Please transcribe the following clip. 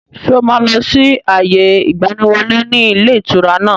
Ṣé o máa lọ sí àyè ìgbàníwọlé ni ilé ìtura náà?